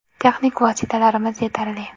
Texnik vositalarimiz yetarli.